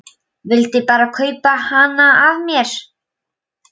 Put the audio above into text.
Vildi bara kaupa hana af mér!